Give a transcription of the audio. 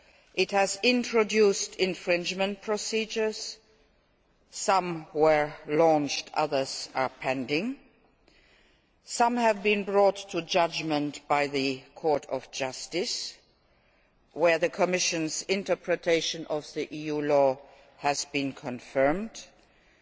It has introduced infringement procedures some have been launched, others are pending, and others have been brought to judgment by the Court of Justice, where the Commission's interpretation of EU law has been borne out.